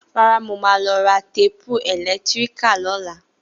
Rárá, Mo má lọ ra téèpù ẹ̀lẹ́tíríkì lọ́la